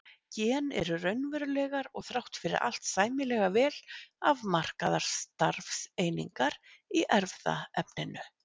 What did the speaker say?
Gen eru raunverulegar og þrátt fyrir allt sæmilega vel afmarkaðar starfseiningar í erfðaefninu.